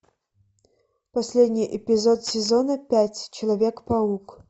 последний эпизод сезона пять человек паук